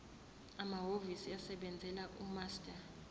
amahhovisi asebenzela umaster